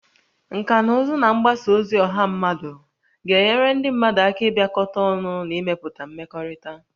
Nkà na ụzụ na mgbasa ozi ọha mmadụ ga-enyere ndị mmadụ aka ịbịakọta ọnụ na ịmepụta mmekọrịta